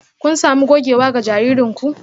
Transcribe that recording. Kun sami gogewa ga jaririn ku?